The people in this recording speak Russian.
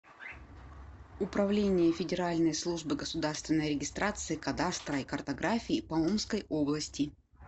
управление федеральной службы государственной регистрации кадастра и картографии по омской области